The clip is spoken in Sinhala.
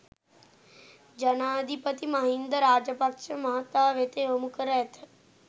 ජනාධිපති මහින්ද රාජපක්‍ෂ මහතා වෙත යොමු කර ඇත